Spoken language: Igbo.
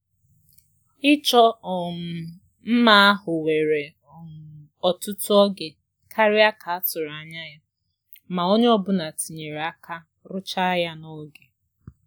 Ihe ịchọ mma were ogologo oge karịa ka a tụrụ anya ya, mana onye ọ bụla batara imecha ha n'oge